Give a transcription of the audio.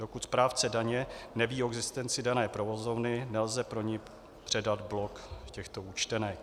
Dokud správce daně neví o existenci dané provozovny, nelze pro ni předat blok těchto účtenek.